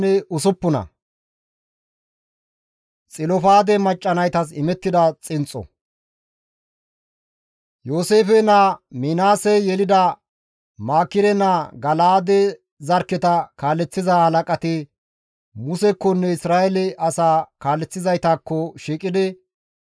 Yooseefe naa Minaasey yelida Maakire naa Gala7aade zarkketa kaaleththiza halaqati Musekkonne Isra7eele asaa kaaleththizaytakko shiiqidi,